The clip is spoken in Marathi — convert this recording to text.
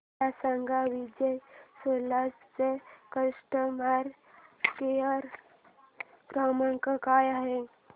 मला सांगा विजय सेल्स चा कस्टमर केअर क्रमांक काय आहे